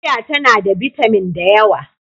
Fiya tana da bitamin da yawa.